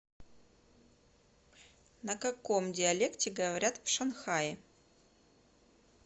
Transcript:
на каком диалекте говорят в шанхае